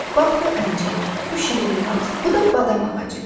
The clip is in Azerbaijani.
Bax bu əncir, bu şirin gilas, bu da badam ağacıdır.